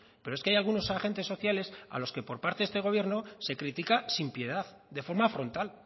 pero es que hay algunos agentes sociales a los que por parte de este gobierno se critica sin piedad de forma frontal